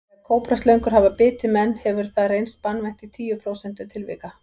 Þegar kóbraslöngur hafa bitið menn hefur hefur það reynst banvænt í tíu prósentum tilvika.